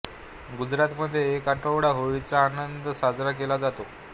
गुजरातमध्ये एक आठवडा होळीचा आनंद साजरा केला जातो